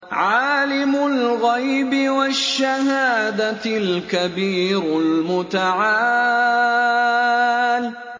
عَالِمُ الْغَيْبِ وَالشَّهَادَةِ الْكَبِيرُ الْمُتَعَالِ